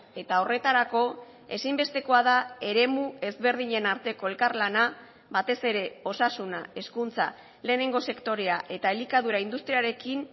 eta horretarako ezinbestekoa da eremu ezberdinen arteko elkarlana batez ere osasuna hezkuntza lehenengo sektorea eta elikadura industriarekin